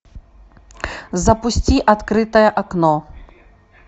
запусти открытое окно